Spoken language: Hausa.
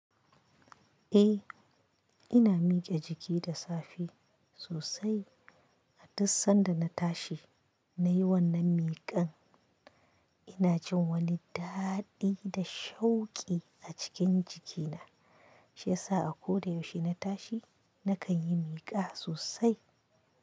E, ina mike jiki da safe sosai. A duk sanda na tashi na yi wannan mikar ina jin wani daɗi da shauƙi a cikin jikina. Shi yasa a ko da yaushe na tashi na kan yi mika sosai.